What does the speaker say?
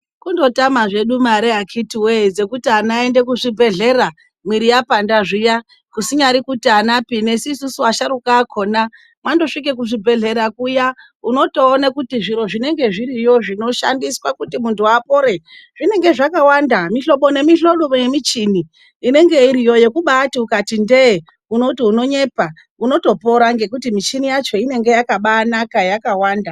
Kundotama hedu mare akiti wee dzekuti ana aende kuzvibhedhlera, miiri yapanda zviya. Kusinyari kuti anapinesusu asharuka akona. Wambesvika kuzvibhedhlera kuya, unotoona kuti zviro zviya zvinoshandiswa kuti muntu apore, zvinenge zvakawanda mimwe mihlopo nemichini inenge iriyo yekumbaati ukati ndee, unoti unonyepa. Uotopora ngekuti michini yacho inenge yakabanaka yakawanda.